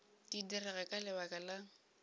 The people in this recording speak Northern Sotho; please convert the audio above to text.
di direga ka lebaka la